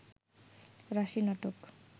রাশি নাটক